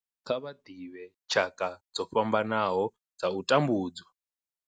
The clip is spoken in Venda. Kha vha ḓivhe tshaka dzo fhambanaho dza u tambudzwa.